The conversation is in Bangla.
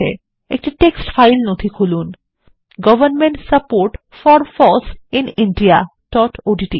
একটি টেক্সট ফাইল নথি খুলুন government support for foss in indiaওডিটি